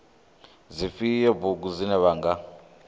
dzifhio bugu dzine vha nga